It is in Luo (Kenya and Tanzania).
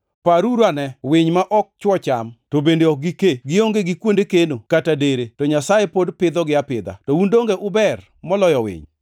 Paruruane winy ma ok chwo cham to bende ok gikee, gionge gi kuonde keno kata dere; to Nyasaye pod pidhogi apidha. To un donge uber moloyo winy.